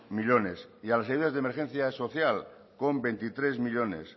millónes y a las ayudas de emergencia social con veintitrés millónes